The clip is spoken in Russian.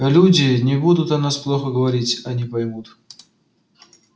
люди не будут о нас плохо говорить они поймут